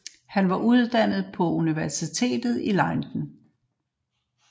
Han var uddannet på Universiteit Leiden